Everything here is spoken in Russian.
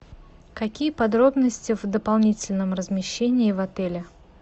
какие подробности в дополнительном размещении в отеле